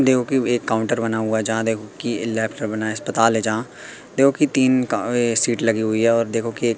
भी एक काउंटर बना हुआ है जहां देखो कि बना है अस्पताल है जहां देखो कि तीन का ये शीट लगी हुईं और देखो की--